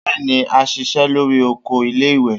Bẹ́ẹ́ni, á ṣiṣẹ́ lórí oko iléìwé